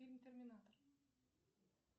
фильм терминатор